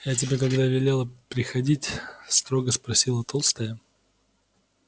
я тебе когда велела приходить строго спросила толстая